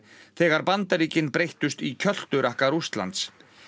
þegar Bandaríkin breyttust í kjölturakka Rússlands